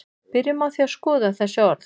byrjum á því að skoða þessi orð